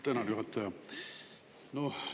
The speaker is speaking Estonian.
Tänan, juhataja!